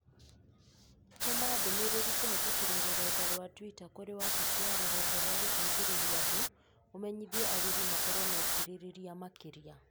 Tũma ndũmĩrĩri kũhĩtũkĩra rũrenda rũa tũita kũrĩ wabici ya rũhonge rwa gũteithĩrĩria andũ ũmenyithie agũri makorũo na ũkirĩrĩria makĩria